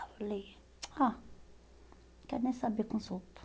Aí eu falei, ah, não quero nem saber